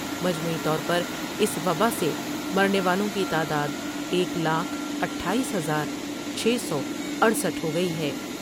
مجموعی طور پر اس وباء سے مرنے والوں کی تعداد ایک لاکھ اٹھآیس ہزار چھ سو اٹھسٹھ ہوگئی ہے ۔